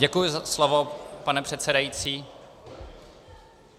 Děkuji za slovo, pane předsedající.